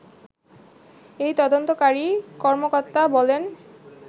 এই তদন্তকারী কর্মকর্তা বলেন